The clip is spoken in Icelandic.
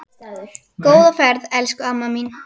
Góða ferð, elsku amma mín.